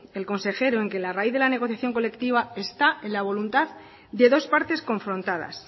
el consejero en que la raíz en la negociación colectiva está en la voluntad de dos partes confrontadas